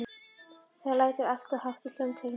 Það lætur alltof hátt í hljómtækjunum.